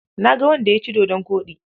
Na ga wanda ya ci dodon koɗi.